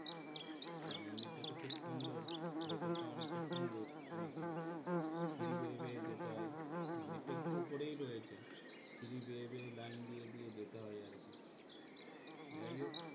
আর মন্দিরটা তো খুব সুন্দর ভেতরটাও অনেকটা সুন্দর শুনেছি সিঁড়ি বেয়ে বেয়ে যেতে হয় মন্দিরটা একটু উপরেই রয়েছে সিঁড়ি বেয়ে বেয়ে লাইন দিয়ে দিয়ে দেতে হয় আরকি যাই হোক,